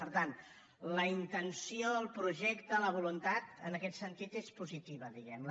per tant la intenció el projecte la voluntat en aquest sentit és positiva diguem ne